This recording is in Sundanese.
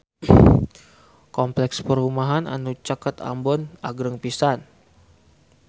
Kompleks perumahan anu caket Ambon agreng pisan